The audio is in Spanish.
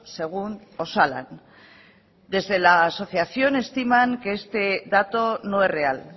según osalan desde la asociación estiman que este dato no es real